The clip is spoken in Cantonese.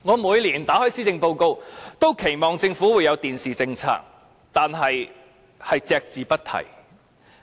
每年閱讀施政報告時，我都期望政府會提出其電視政策，但當局卻一直隻字不提。